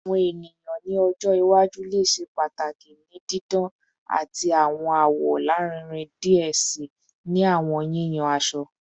Awọn eniyan ni ọjọ iwaju le ṣe pataki ni didan ati awọn awọ larinrin diẹ sii ni awọn yiyan aṣọ